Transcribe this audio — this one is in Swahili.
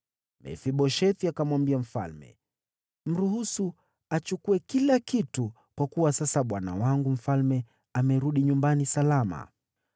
Mefiboshethi akamwambia mfalme, “Mruhusu achukue kila kitu, kwa kuwa sasa bwana wangu mfalme amerudi nyumbani salama.”